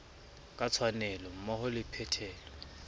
ka tshwanelo mmoho le phethelo